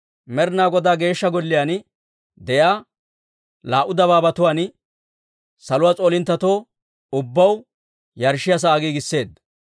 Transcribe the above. Med'inaa Godaa Geeshsha Golliyaan de'iyaa laa"u dabaabatuwaan saluwaa s'oolinttetoo ubbaw yarshshiyaa sa'aa giigisseedda.